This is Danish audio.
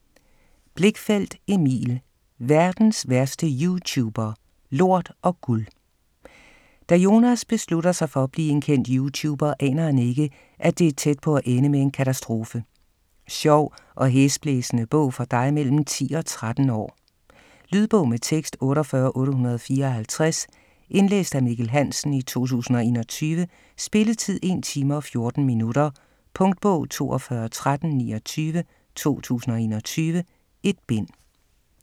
Blichfeldt, Emil: Verdens værste youtuber: lort & guld Da Jonas beslutter sig for at blive en kendt youtuber, aner han ikke, at det er tæt på at ende med en katastrofe. Sjov og hæsblæsende bog for dig mellem 10 og 13 år. Lydbog med tekst 48854 Indlæst af Mikkel Hansen, 2021. Spilletid: 1 time, 14 minutter. Punktbog 421329 2021. 1 bind.